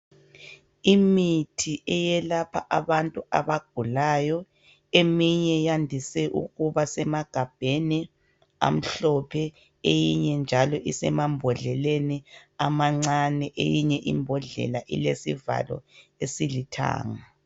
Imithi eyelapha abantu abagulayo eminye yandise ukuba semagabheni amhlophe eyinye njalo isemambodleleni amancane eyinye imbodlela ilesivalo esilithanga.